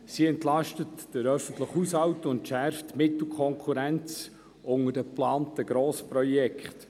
Sie entlastet den öffentlichen Haushalt und entschärft die Mittelkonkurrenz unter den geplanten Grossprojekten.